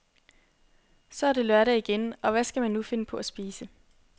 Så er det lørdag igen, og hvad skal man nu finde på at spise.